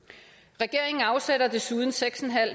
regeringen afsætter desuden seks